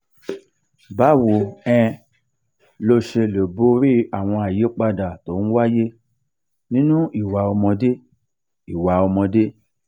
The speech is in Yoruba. báwo um lo ṣe lè borí àwọn àyípadà tó ń wáyé nínú ìwà ọmọdé? ìwà ọmọdé?